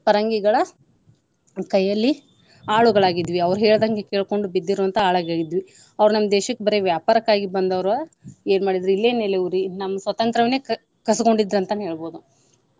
ಪರಂಗಿಗಳ ಕೈಯಲ್ಲಿ ಆಳುಗಳಾಗಿದ್ವಿ ಅವ್ರ ಹೇಳಿದಂಗ ಕೆಳ್ಕೊಂಡ ಬಿದ್ದಿರೊವಂತ ಆಳುಗಳಾಗಿದ್ವಿ. ಅವ್ರ ನಮ್ಮ ದೇಶಕ್ಕ ಬರೆ ವ್ಯಾಪಾರಕ್ಕಾಗಿ ಬಂದವ್ರು ಏನ ಮಾಡಿದ್ರು ಇಲ್ಲೇ ನೆಲೆಯೂರಿ ನಮ್ಮ ಸ್ವತಂತ್ರವನ್ನೇ ಕ~ ಕಸ್ಕೊಂಡ್ರಿದ್ರು ಅಂತಾನೆ ಹೇಳ್ಬಹುದು.